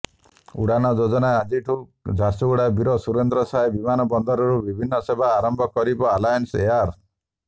ଉଡ଼ାନ ଯୋଜନାରେ ଆଜିଠୁ ଝାରସୁଗୁଡ଼ା ବୀର ସୁରେନ୍ଦ୍ର ସାଏ ବିମାନବନ୍ଦରରୁ ବିମାନ ସେବା ଆରମ୍ଭ କରିବ ଆଲାଏନ୍ସ ଏୟାର